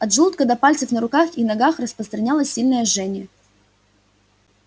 от желудка до пальцев на руках и ногах распространялось сильное жжение